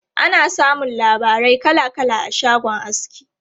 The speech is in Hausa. Ana samun labarai kala kala a shagon aski.